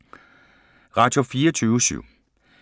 Radio24syv